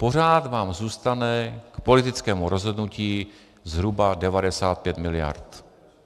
Pořád vám zůstane k politickému rozhodnutí zhruba 95 miliard.